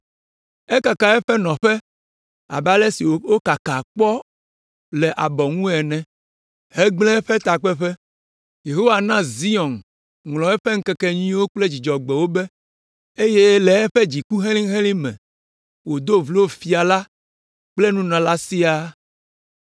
Ekaka eƒe nɔƒe abe ale si wokakaa kpɔ le abɔ ŋu ene hegblẽ eƒe takpeƒe. Yehowa na Zion ŋlɔ eƒe ŋkekenyuiwo kple Dzudzɔgbewo be eye le eƒe dziku helĩhelĩ me wòdo vlo fia la kple nunɔla siaa.